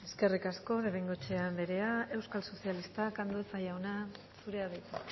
eskerrik asko de bengoechea anderea euskal sozialistak andueza jauna zurea da hitza